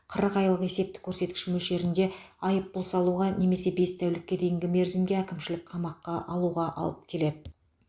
қырық айлық есептік көрсеткіш мөлшерінде айыппұл салуға немесе бес тәулікке дейінгі мерзімге әкімшілік қамаққа алуға алып келеді